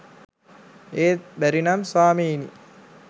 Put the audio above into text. ඒත් බැරි නම් ස්වාමීනී